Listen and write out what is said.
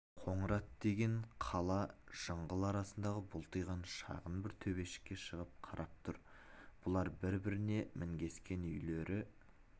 қоңырат деген қала жыңғыл арасындағы бұлтиған шағын бір төбешікке шығып қарап тұр бұлар біріне-бірі мінгескен үйлері